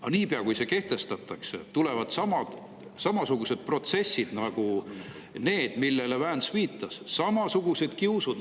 Aga niipea, kui see kehtestatakse, tulevad samasugused protsessid nagu need, millele Vance viitas, samasugused kiusamised.